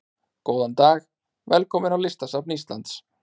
Góðan dag. Velkomin á Listasafn Íslands.